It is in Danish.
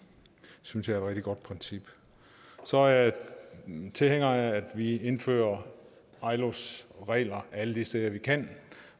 synes jeg rigtig godt princip så er jeg tilhænger af at vi indfører ilos regler alle de steder vi kan